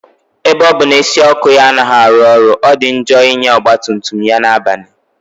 Ebe ọ bụ na isi ọkụ ya anaghị arụ ọrụ, ọ dị njọ ịnya ọgba tum tum ya na-abalị